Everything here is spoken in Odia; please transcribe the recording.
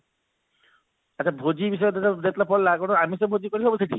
ଆଛା ଭୋଜି ବିଷୟରେ ଯେତେବେଳେ ପଡିଲା କଣ ଆମିଷ ଭୋଜି କରିହବ ସେଠି